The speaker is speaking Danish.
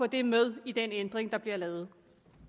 det med i den ændring der bliver lavet